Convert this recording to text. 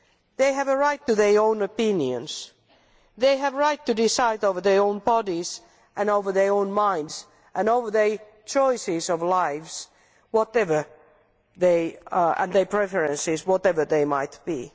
They have a right to their own opinions. They have a right to decide over their own bodies and over their own minds and over their choices of life, whatever their preferences and whatever they might be.